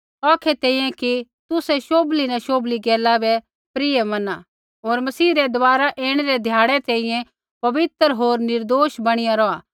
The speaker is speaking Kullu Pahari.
औखै तेंई कि तुसै शोभली न शोभली गैला बै प्रिय मना होर मसीह रै दबारा ऐणै रै ध्याड़ै तैंईंयैं पवित्र होर निर्दोष बणीया रौहा